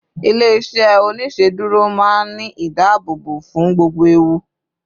ilé iṣẹ oniṣeduro ma n Ni ìdáàbòbò fún gbogbo ẹwù